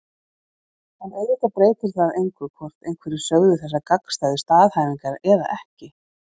En auðvitað breytir það engu hvort einhverjir sögðu þessar gagnstæðu staðhæfingar eða ekki.